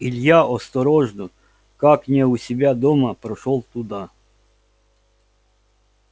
илья осторожно как не у себя дома прошёл туда